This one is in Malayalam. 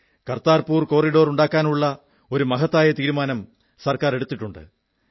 കർതാർപുർ കോറിഡോർ ഉണ്ടാക്കാനുള്ള ഒരു മഹത്തായ തീരുമാനം സർക്കാർ എടുത്തിട്ടുണ്ട്